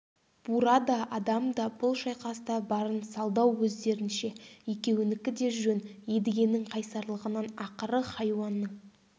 бура да адам да бұл шайқаста барын салды-ау өздерінше екеуінікі де жөн едігенің қайсарлығынан ақыры хайуанның